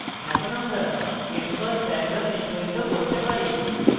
এখন আমরা xcos diagram নিস্পাদিত করতে পারি